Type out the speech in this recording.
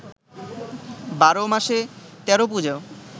বারো মাসে তেরো পুজো